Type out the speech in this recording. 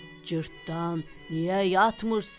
Cırtdan, niyə yatmırsan?